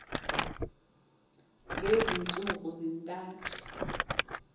ngezi ntsuku zintathu